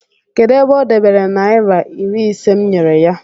kedu ebe o dobere naira iri ise m nyere ya?